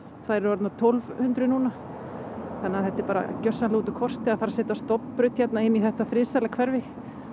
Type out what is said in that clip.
þær eru orðnar tólf hundruð núna það er bara gjörsamlega út úr kortinu að fara að setja stofnbraut inn í þetta friðsæla hverfi